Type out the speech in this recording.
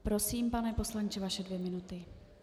Prosím, pane poslanče, vaše dvě minuty.